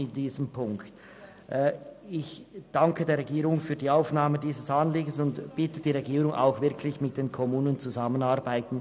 Ich danke der Regierung für die Aufnahme dieses Anliegens und bitte sie, in dieser Frage auch wirklich mit den Kommunen zusammenzuarbeiten.